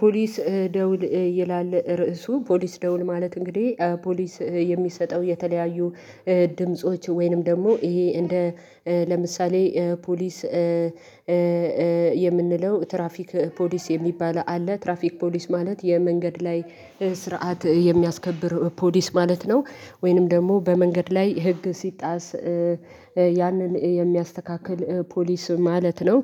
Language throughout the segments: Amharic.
ፖሊስ ደውል ይላል ርዕሱ ፖሊስ ደውል ማለት እንግዲህ ፖሊስ የሚሰጠው የተለያዩ ድምጾች ወይንም ደግሞ ይሄ እንደ ለምሳሌ ፖሊስ የምንለው ትራፊክ ፖሊስ የሚባል አለ ትራፊክ ፖሊስ ማለት የመንገድ ላይ ስርዓት የሚያስከብር ፖሊስ ማለት ነው። ወይንም ደግሞ በመንገድ ላይ ህግ ሲጣስ ያንን የሚያስተካክል ፖሊስ ማለት ነው።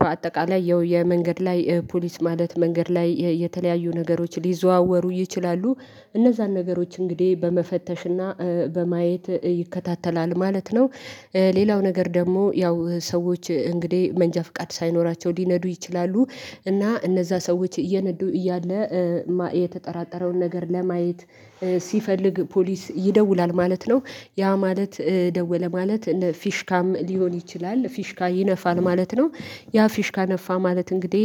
በአጠቃላይ ያው የመንገድ ላይ ፖሊስ ማለት መንገድ ላይ የተለያዩ ነገሮች ሊዘዋወሩ ይችላሉ እነዛን ነገሮች እንግዲህ በመፈተሽና በማየት ይከታተላል ማለት ነው። ሌላው ነገር ደግሞ ያው ሰዎች እንግዲህ መንጃ ፍቃድ ሳይኖራቸው ሊነዱ ይችላሉ እና እነዛ ሰዎች እየነዱ እያለ የተጠራጠረውን ነገር ለማየት ሲፈልግ ፖሊስ ይደውላል ማለት ነው። ያ ማለት ደወለ ማለት እነ ፊሽካም ሊሆን ይችላል ፊሽካ ይነፋል ማለት ነው። ያ ፊሽካ ነፋ ማለት እንግዲህ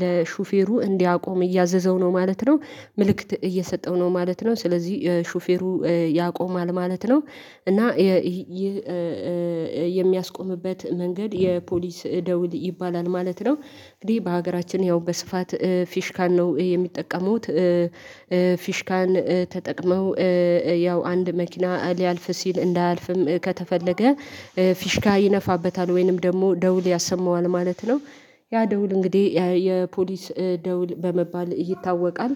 ለሹፌሩ እንዲያቆም እያዘዘው ነው ማለት ነው። ምልክት እየሰጠው ነው ማለት ነው ስለዚህ ሹፌሩ ያቆማል ማለት ነው። እና የሚያስቆምበት መንገድ የፖሊስ ደውል ይባላል ማለት ነው፤። እንግዲህ በሀገራችን ያው በስፋት ፊሽካን ነው የሚጠቀሙት ፊሽካን ተጠቅመው ያው አንድ መኪና ሊያልፍ ሲል እንዳያልፍም ከተፈለገ ፊሽካ ይነፋበታል ወይንም ደግሞ ደውል ያሰማዋል ማለት ነው። ያ ደውል እንግዲህ የፖሊስ ደውል በመባል ይታወቃል።